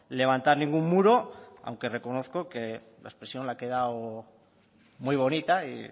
levantar ningún muro aunque reconozco que la expresión le ha quedado muy bonita y